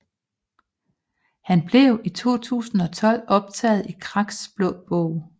Han blev i 2012 optaget i Kraks Blå Bog